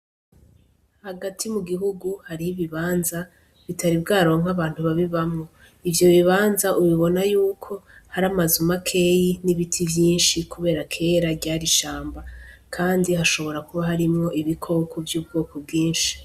Hagati mu gihugu hariho ibibanza bitari bwaronke abantu babibamwo ivyo bibanza ubibona yuko hari amazu makeyi n' ibiti vyinshi kubera kera ryari ishamba kandi hashobora kuba harimwo ibikoko vy' ubwoko bwinshi.